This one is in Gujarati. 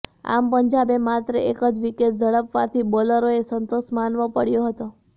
આમ પંજાબે માત્ર એક જ વિકેટ ઝડપવાથી બોલરોએ સંતોષ માનવો પડ્યો હતો